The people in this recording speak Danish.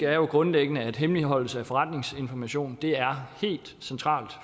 er jo grundlæggende at hemmeligholdelse af forretningsinformation er helt centralt